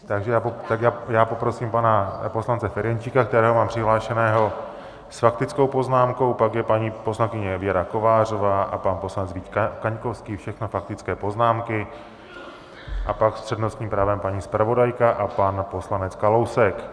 Tak já poprosím pana poslance Ferjenčíka, kterého mám přihlášeného s faktickou poznámkou, pak je paní poslankyně Věra Kovářová a pan poslanec Vít Kaňkovský, všechno faktické poznámky, a pak s přednostním právem paní zpravodajka a pan poslanec Kalousek.